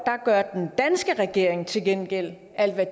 gør den danske regering til gengæld alt hvad